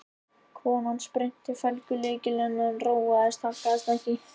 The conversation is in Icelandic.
Konan spyrnti í felgulykilinn en róin haggaðist ekki.